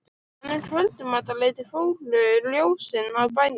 En um kvöldmatarleytið fóru ljósin af bænum.